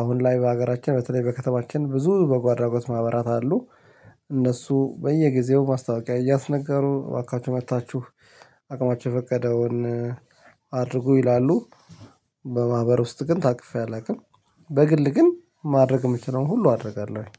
አሁን ላይ በሀገራችን በተለይ በከተማችን ብዙ በጎ አድራጎት ማህበራት አሉ። እነሱ በየጊዜው ማስታወቂያ እያስነጋሩ እባካችሁ መጥታችሁ አቅማችሁ የፈቀደውን ይላሉ። በማህበር ውስጥ ግን ታቅፌ አላውቅም በግል ግን ማድረግ እምችለውን ሁሉ አደርጋለሁኝ።